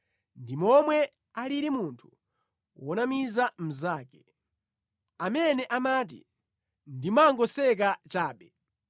ndi momwe alili munthu wonamiza mnzake, amene amati, “Ndimangoseka chabe!”